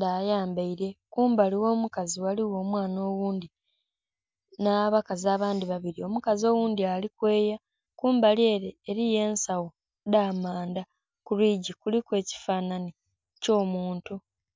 dhayambaire kumbali gho mukazi ghaligho omwana oghundhi nha bakazi abandhi babiri omukazi oghundhi ali kweeya. Kumbali ere eriyo ensagho dha amandha kulwigi kuliku ekifananhi kyo muntu.